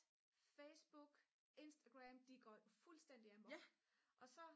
facebook instagram de går fuldstændig amok og så